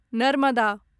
Narmada